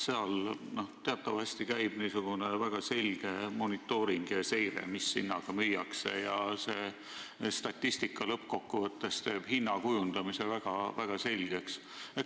Seal käib teatavasti väga selge monitooring ja seire, mis hinnaga midagi müüakse, ja see statistika teeb lõppkokkuvõttes hinna kujundamise põhimõtted väga selgeks.